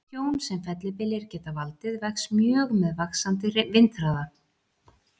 Tjón sem fellibyljir geta valdið vex mjög með vaxandi vindhraða.